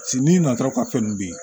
n'i nana ka fɛn nun bin